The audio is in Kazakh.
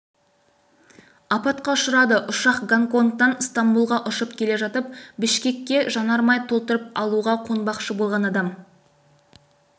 апатқа ұшырады ұшақ гонконгтан стамбұлға ұшып келе жатып бішкекке жанармай толтырып алуға қонбақшы болған адам